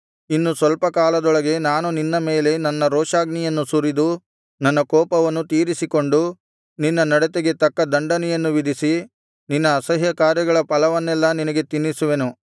ಇನ್ನು ಸ್ವಲ್ಪ ಕಾಲದೊಳಗೆ ನಾನು ನಿನ್ನ ಮೇಲೆ ನನ್ನ ರೋಷಾಗ್ನಿಯನ್ನು ಸುರಿದು ನನ್ನ ಕೋಪವನ್ನು ತೀರಿಸಿಕೊಂಡು ನಿನ್ನ ನಡತೆಗೆ ತಕ್ಕ ದಂಡನೆಯನ್ನು ವಿಧಿಸಿ ನಿನ್ನ ಅಸಹ್ಯಕಾರ್ಯಗಳ ಫಲವನ್ನೆಲ್ಲಾ ನಿನಗೆ ತಿನ್ನಿಸುವೆನು